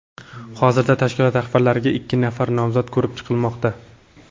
Hozirda tashkilot rahbarligiga ikki nafar nomzod ko‘rib chiqilmoqda.